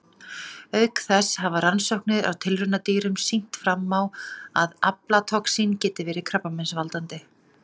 Auk þessa hafa rannsóknir á tilraunadýrum sýnt fram á að aflatoxín geti verið krabbameinsvaldandi.